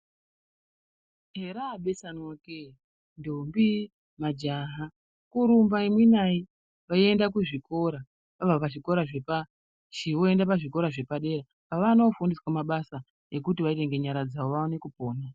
Herabeswanwa kee ntombi nemajaha kurimba imwe naye veienda kuzvikora abva pachikora chepashi voenda pazvikora zvepadera pavanofundiswa mabasa ekuti vaite ngenyara dzavo vaone kupona.